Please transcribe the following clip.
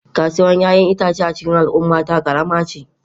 Kasuwar 'ya'yan itace a cikin al'ummata karama ce.